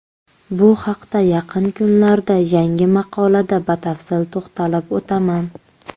Bu haqda yaqin kunlarda yangi maqolada batafsil to‘xtalib o‘taman.